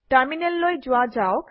টাৰমিনেললৈ যোৱা যাওক